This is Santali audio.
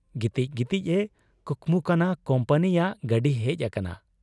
ᱜᱤᱛᱤᱡ ᱜᱤᱛᱤᱡ ᱮ ᱠᱩᱠᱢᱩ ᱠᱟᱱᱟ ᱠᱩᱢᱯᱟᱹᱱᱤᱭᱟᱜ ᱜᱟᱹᱰᱤ ᱦᱮᱡ ᱟᱠᱟᱱᱟ ᱾